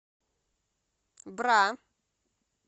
бра